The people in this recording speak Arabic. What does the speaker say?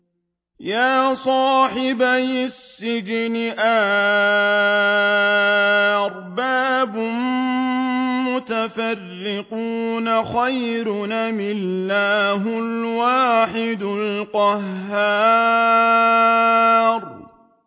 يَا صَاحِبَيِ السِّجْنِ أَأَرْبَابٌ مُّتَفَرِّقُونَ خَيْرٌ أَمِ اللَّهُ الْوَاحِدُ الْقَهَّارُ